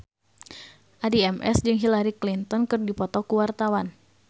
Addie MS jeung Hillary Clinton keur dipoto ku wartawan